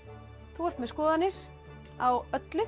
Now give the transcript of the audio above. þú ert með skoðanir á öllu